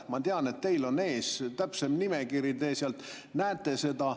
Ma tean, et teil on ees täpsem nimekiri, teie sealt näete seda.